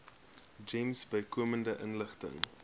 gems bykomende inligting